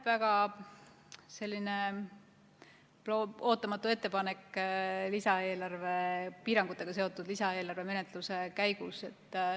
Väga ootamatu ettepanek piirangutega seotud lisaeelarve menetluse käigus.